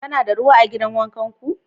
Kuna da ruwa a gidan wanka ku?